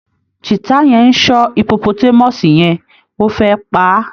Cheetah yẹn ń ṣọ́ hippotmus yẹn, ó fẹ́ pa á